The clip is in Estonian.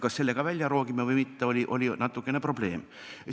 Kas see ka välja rookida või mitte, oli natukene probleem.